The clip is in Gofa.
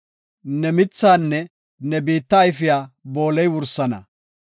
Ne mithaanne ne biitta ayfiya booley wursana.